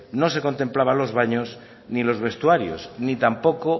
no se contemplaba los baños ni los vestuarios ni tampoco